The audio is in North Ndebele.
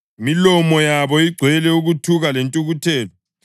“Imilomo yabo igcwele ukuthuka lentukuthelo.” + 3.14 AmaHubo 10.7